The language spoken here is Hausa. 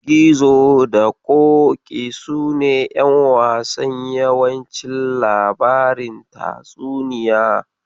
Gizo da Ƙoƙi sune ƴan wasan yawancin labarin tatsuniya.